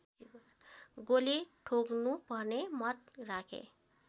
गोली ठोक्नुपर्ने मत राखे